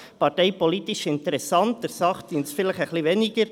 Das ist parteipolitisch interessant, aber der Sache dient es vielleicht weniger.